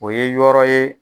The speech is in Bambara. O ye yɔrɔ ye